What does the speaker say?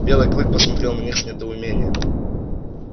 белый клык посмотрел на них с недоумением